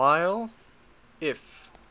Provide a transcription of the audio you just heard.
while if